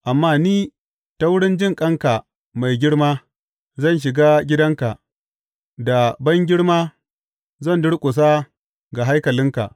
Amma ni, ta wurin jinƙanka mai girma, zan shiga gidanka; da bangirma zan durƙusa ga haikalinka.